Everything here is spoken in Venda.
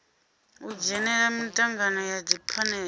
u dzhenela mitangano ya dziphanele